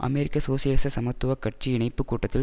அமெரிக்க சோசியலிச சமத்துவ கட்சி இணைப்புக் கூட்டத்தில்